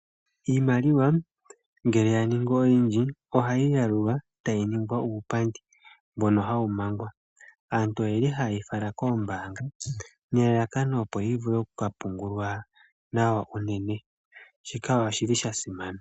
Iimaliwa ngele ya ningi oyindji, ohayi yalulwa tayi ningwa uupandi mbono hawu mangwa. Aantu oyeli hayeyi fala koombaanga nelalakano opo yi vule oku ka pungulwa nawa unene, shika oshili sha simana.